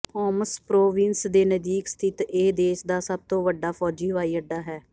homes province ਦੇ ਨਜ਼ਦੀਕ ਸਥਿਤ ਇਹ ਦੇਸ ਦਾ ਸਭ ਤੋਂ ਵੱਡਾ ਫੌਜੀ ਹਵਾਈ ਅੱਡਾ ਹੈ